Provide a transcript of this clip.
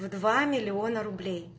в два миллиона рублей